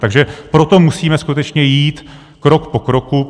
Takže proto musíme skutečně jít krok po kroku.